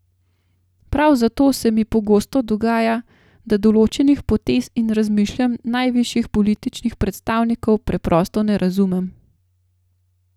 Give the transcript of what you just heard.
Prav zato se mi pogosto dogaja, da določenih potez in razmišljanj najvišjih političnih predstavnikov preprosto ne razumem.